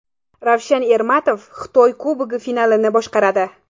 Ravshan Ermatov Xitoy Kubogi finalini boshqaradi.